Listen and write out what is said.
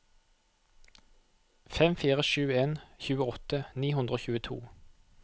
fem fire sju en tjueåtte ni hundre og tjueto